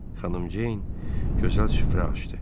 Xanım Ceyn gözəl süfrə açdı.